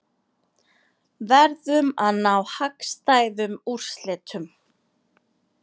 Verðum að ná hagstæðum úrslitum